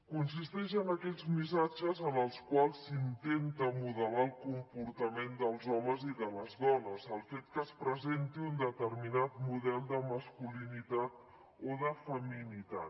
consisteix en aquells missatges en els quals s’intenta modelar el comportament dels homes i de les dones el fet que es presenti un determinat model de masculinitat o de feminitat